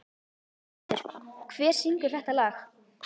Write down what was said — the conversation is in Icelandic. Skjöldur, hver syngur þetta lag?